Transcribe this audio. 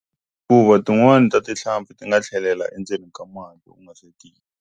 Hikuva tin'wani ta tihlampfi ti nga tlhelela endzeni ka mati .